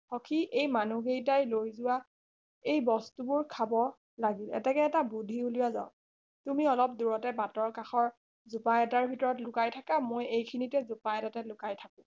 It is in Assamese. সখী এই মানুহ কেইটাই লৈ যোৱা এই বস্তুবোৰ খাব লাগিব এতেকে এটা বুদ্ধি উলিওৱা যাওক তুমি অলপ দূৰতে বাতৰ কাষৰ জোপা এটাৰ ভিতৰত লুকাই থকা মই এই খিনিতে জোপা এটাতে লুকাই থাকো